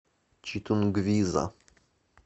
читунгвиза